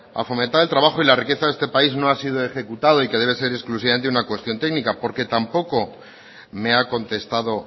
a fomentar el trabajo y la riqueza de este país no ha sido ejecutado y que debe ser exclusivamente una cuestión técnica porque tampoco me ha contestado